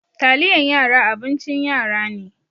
Taliyan yara abincin yara ne.